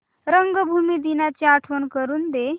रंगभूमी दिनाची आठवण करून दे